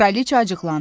Kraliça acıqlandı.